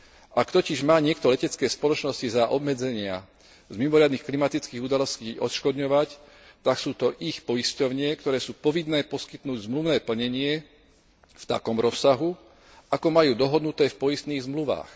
Ak totiž má niekto letecké spoločnosti za obmedzenia z mimoriadnych klimatických udalostí odškodňovať, tak sú to ich poisťovne, ktoré sú povinné poskytnúť zmluvné plnenie v takom rozsahu, ako majú dohodnuté v poistných zmluvách.